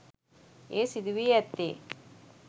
එය සිදු වී ඇත්තේ